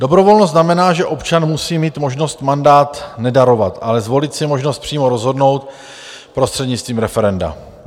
Dobrovolnost znamená, že občan musí mít možnost mandát nedarovat, ale zvolit si možnost přímo rozhodnout prostřednictvím referenda.